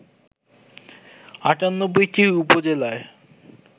৯৮টি উপজেলায়